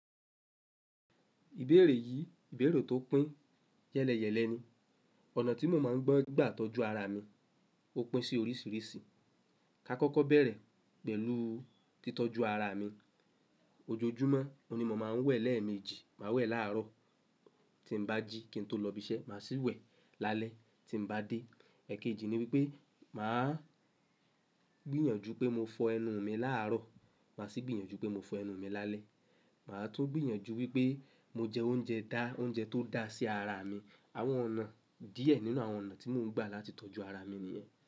Ìbéèrè yìí, ìbẹ̀rù tó pín yẹ́lẹyẹ̀lẹ ni. Ọ̀nà tí mo máa ń gbọ́ gbà tọ́jú ara mi ó pín sí oríṣiríṣi. Ka kọ́kọ́ bẹ̀rẹ̀ pẹ̀lú títọ́jú ara mi. Ojojúmọ́ mo ní mo máa ń wẹ̀ lẹ́ẹ̀mejì, màá wẹ̀ láàárọ̀ tí ń bá jí kí n tó lọ ibiṣẹ́, màá sì wẹ̀ lálẹ́ tí ń bá dé. Ẹ̀kejì ni wípé màá gbìyànjú pé mo fọ ẹnu mi làárọ̀, màá sì gbìyànjú pé mo fọ ẹnu mi lálẹ́. Màá tún gbìyànjú wípé mo jẹ oúnjẹ dá, oúnjẹ tó dá sí ara mi. Àwọn ọ̀nà díẹ̀ nínú àwọn ọ̀nà tí mo ń gbà láti tọ́jú ara mi nìyẹn.